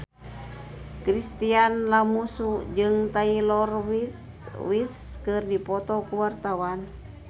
Chintya Lamusu jeung Taylor Swift keur dipoto ku wartawan